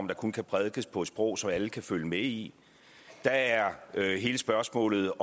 der kun kan prædikes på et sprog som alle kan følge med i der er hele spørgsmålet